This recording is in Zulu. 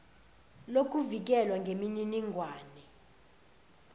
lokuvikelwa kweminining wane